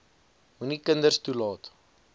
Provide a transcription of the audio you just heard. moenie kinders toelaat